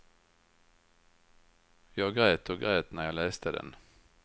Jag grät och grät när jag läste den.